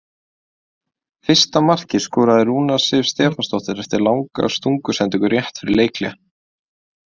Fyrsta markið skoraði Rúna Sif Stefánsdóttir eftir langa stungusendingu rétt fyrir leikhlé.